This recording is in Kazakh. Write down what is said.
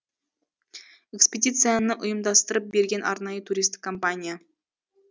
экспедицияны ұйымдастырып берген арнайы туристік компания